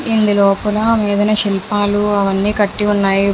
ఇందు లోపల శిల్పాలు అవి కట్టి ఉన్నాయి.